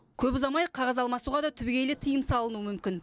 көп ұзамай қағаз алмасуға да түбегейлі тыйым салынуы мүмкін